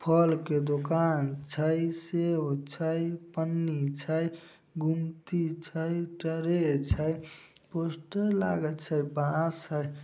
फल के दुकान छै सेब छै पन्नी छै गुमटी छै ट्रे छै पोस्टर लागल छै बांस हेय।